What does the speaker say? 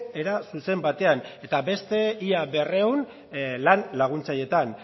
era zuzen batean eta beste ia berrehun lan laguntzaileetan